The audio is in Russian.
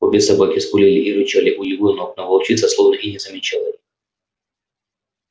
обе собаки скулили и рычали у его ног но волчица словно и не замечала